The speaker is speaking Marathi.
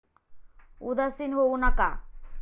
उदासीन होऊ नका!